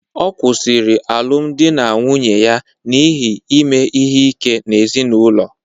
Ọ kwụsịrị alụmdi na nwunye ya n'ihi ime ihe ike n'ezinụlọ